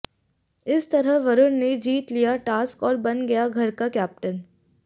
इस तरह वरुण ने जीत लिया टास्क और बन गया घर का कैप्टेन